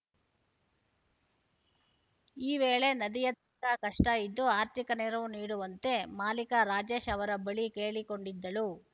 ಈ ವೇಳೆ ನದಿಯಾ ತ ಕಷ್ಟಇದ್ದು ಆರ್ಥಿಕ ನೆರವು ನೀಡುವಂತೆ ಮಾಲೀಕ ರಾಜೇಶ್‌ ಅವರ ಬಳಿ ಕೇಳಿಕೊಂಡಿದ್ದಳು